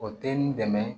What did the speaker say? O tɛ n dɛmɛ